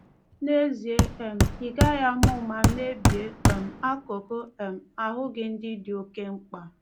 N’ezie, um ị gaghị ama ụma mebie um akụkụ um ahụ gị ndị dị oke mkpa.